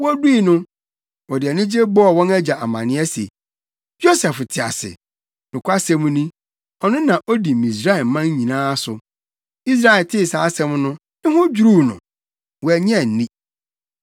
Wodui no, wɔde anigye bɔɔ wɔn agya amanneɛ se, “Yosef te ase! Nokwasɛm ni, ɔno na odi Misraiman nyinaa so!” Israel tee saa asɛm no, ne ho dwiriw no. Wannye anni.